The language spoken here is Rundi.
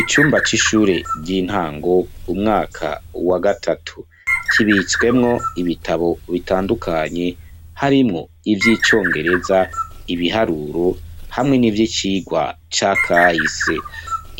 Icumba c'ishure ryintango umwaka wagatatu, kibitswemwo ibitabu bitandukanye harimwo ivyicongereza, ibiharuro, hamwe n'ivyicigwa ca kahise